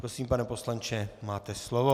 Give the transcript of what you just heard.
Prosím, pane poslanče, máte slovo.